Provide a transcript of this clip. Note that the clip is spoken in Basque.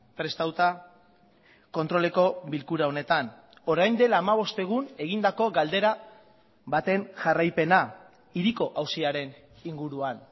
prestatuta kontroleko bilkura honetan orain dela hamabost egun egindako galdera baten jarraipena hiriko auziaren inguruan